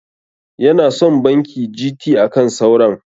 Yana son banki GT akan sauran.